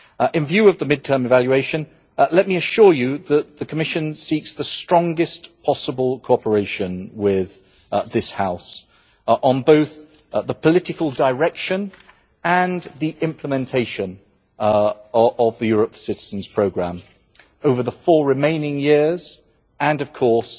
In view of the mid term evaluation, let me assure you that the Commission seeks the strongest possible cooperation with this House on both the political direction and the implementation of the Europe for Citizens programme over the four remaining years and of course